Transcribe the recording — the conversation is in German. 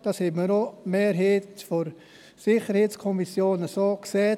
Die Mehrheit der SiK hat dies auch so gesehen.